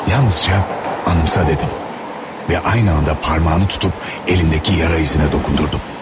Yalnızca anımsa dedim və eyni anda barmağını tutub əlindəki yara izlərinə dokundurdum.